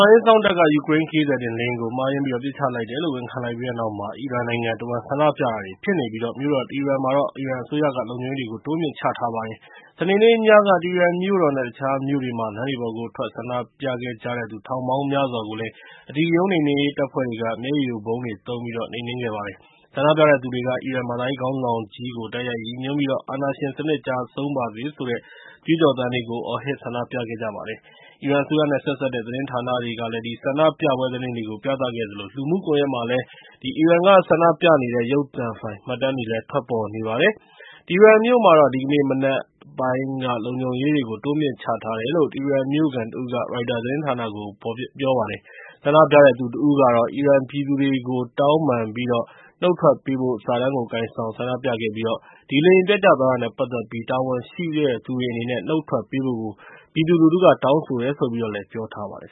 န်ရေးအစောင့်တပ်က ယူကရိန်း ခရီးသည်တင်လေယာဉ်ကို မှားယွင်းပြီးတော့ ပစ်ချလိုက်တယ်လို့ ဝန်ခံလိုက်ပြီးတဲ့နောက် အီရန်နိုင်ငံတဝှမ်းမှာ ဆန္ဒပြတာတွေ ဖြစ်လာနေပြီး မြို့တော် တီဟီရန်မှာတော့ အီရန်အစိုးရက လုံခြုံရေးတွေ တိုးမြှင့်ချထားလိုက်ပါတယ်။ စနေနေ့ညက တီဟီရန်မြို့တော်နဲ့ တခြားမြို့တွေမှာ လမ်းတွေပေါ်ကို ထွက်ပြီး ဆန္ဒပြခဲ့ကြတဲ့သူ ထောင်ပေါင်းများစွာကို အဓိကရုဏ်းနှိမ်နင်းရေး တပ်ဖွဲ့တွေက မျက်ရည်ယိုဗုံးတွေ သုံးပြီး နှိမ်နင်းခဲ့ကြပါတယ်။ ဆန္ဒပြတဲ့သူတွေက အီရန်ဘာသာရေးခေါင်းဆောင်ကြီးကို တိုက်ရိုက်ရည်ညွှန်းပြီးတော့ အာဏာရှင်စနစ် ကျဆုံးပါစေဆိုတဲ့ ကြွေးကြော်သံတွေကို အော်ဟစ် ဆန္ဒပြခဲ့ကြပါတယ်။ အီရန်အစိုးရနဲ့ ဆက်စပ်တဲ့ သတင်းဌာနတွေက ဆန္ဒပြပွဲ သတင်းတွေကို ပြသခဲ့သလို လူမှုကွန်ရက်တွေမှာလည်း အီရန်က ဆန္ဒပြနေကြတဲ့ ရုပ်သံဖိုင် မှတ်တမ်းတွေလည်း ထွက်ပေါ်နေပါတယ်။ တီဟီရန်မြို့မှာတော့ ဒီကနေ့ မနက်ပိုင်းမှာ လုံခြုံရေးတွေကို တိုးမြှင့်ချထားတယ်လို့ တီဟီရန်မြို့ခံတဦးက ရိုက်တာသတင်းဌာနကို ပြောပါတယ်။ ဆန္ဒပြတဲ့သူတဦးကတော့ အီရန်ပြည်သူတွေကို တောင်းပန်ပြီး နုတ်ထွက်ပေးဖို့ စာတန်းကိုကိုင်ဆောင် ဆန္ဒပြခဲ့ကြပြီး ဒီလေယာဉ်ပျက်ကျသွားတာနဲ့ ပတ်သက်ပြီး တာဝန်ရှိတဲ့သူတွေ အနေနဲ့ နုတ်ထွက်ပေးဖို့ ပြည်သူလူထုက တောင်းဆိုတယ်လို့ ပြောထားပါတယ်